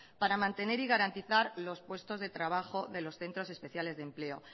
para mantener y garantizar los puestos de trabajo de los centros especiales de empleo